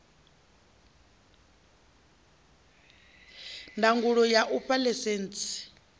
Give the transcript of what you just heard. ndangulo ya u fha ḽaisentsi